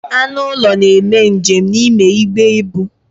Anụ ụlọ na-eme njem n'ime igbe ebu.